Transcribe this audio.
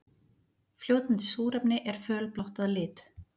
Fljótandi súrefni er fölblátt að lit.